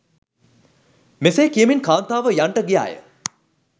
මෙසේ කියමින් කාන්තාව යන්ට ගියා ය.